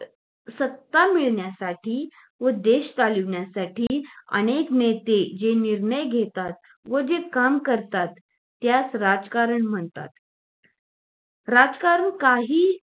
सत्ता मिळण्यासाठी व देश चालवण्यासाठी अनेक नेते जे निर्णय घेतात व जे काम करतात त्यास राजकारण म्हणतात राजकारण काही